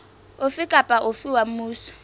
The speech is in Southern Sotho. ofe kapa ofe wa mmuso